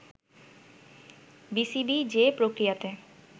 BCB যে প্রক্রিয়াতে